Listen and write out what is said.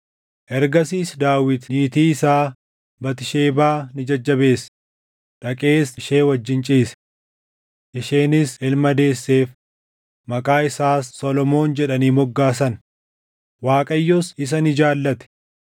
Ergasiis Daawit niitii isaa Batisheebaa ni jajjabeesse; dhaqees ishee wajjin ciise. Isheenis ilma deesseef; maqaa isaas Solomoon jedhanii moggaasan. Waaqayyos isa ni jaallate;